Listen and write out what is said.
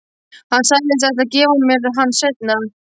Hann sagðist ætla að gefa mér hann seinna.